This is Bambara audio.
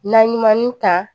Na ɲuman ta